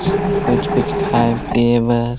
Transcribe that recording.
कुछ-कुछ खाए पिए बर--